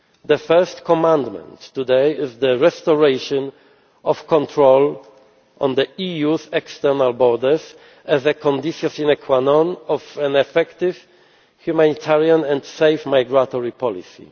sense. The first commandment today is the restoration of control on the EU's external borders as a sine qua non of an effective, humanitarian and safe migratory